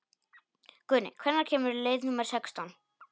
Guðni, hvenær kemur leið númer sextán?